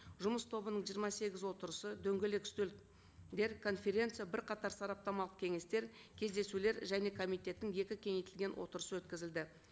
жұмыс тобының жиырма сегіз отырысы дөңгелек үстелдер конференция бірқатар сараптамалық кеңестер кездесулер және комитеттің екі кеңейтілген отырысы өткізілді